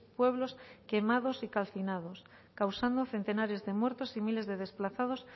pueblos quemados y calcinados causando centenares de muertos y miles de desplazados